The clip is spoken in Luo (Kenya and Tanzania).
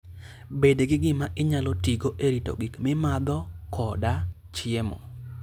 Bed gi gima inyalo tigo e rito gik mimadho koda chiemo.